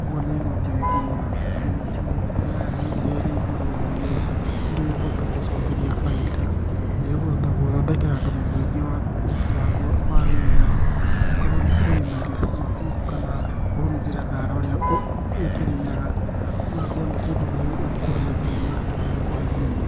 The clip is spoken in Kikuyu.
ũguo nĩ ng'ombe nginya mĩrutĩre yayo ya iria ĩrĩ igũrũ, ũguo nĩ kĩndũ gĩkũhota gũgũcokeria bainda, na nĩgĩkũhota gũgũthondekera thumu mũingĩ wa ũruti waguo wa wĩra, angĩkorwo nĩkũrĩma irio ciaku kana kũhurunjĩra thara ũrĩa ĩkĩrĩaga, gĩgakorwo nĩ kĩndũ gĩgũkũhe mbia na gĩkũhe thumu.